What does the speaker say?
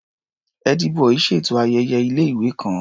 Ẹ́dí-bọì ṣètò ayẹyẹ ilé-ìwé kan.